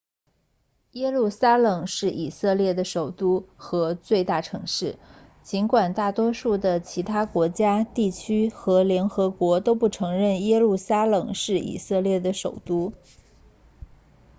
耶路撒冷是以色列的首都和最大城市尽管大多数的其他国家地区和联合国都不承认耶路撒冷是以色列的首都